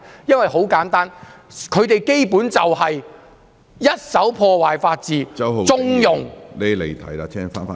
原因很簡單，他們根本就是在破壞法治，縱容......